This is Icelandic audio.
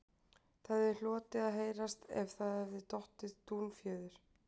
Það hefði hlotið að heyrast ef það hefði dottið dúnfjöður